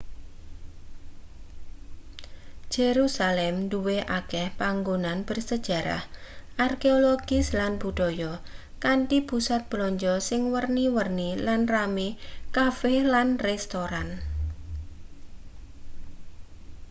jerusalem duwe akeh panggonan bersejarah arkeologis lan budaya kanthi pusat blanja sing werna-werni lan rame cafe lan restoran